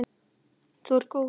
Þú ert góð!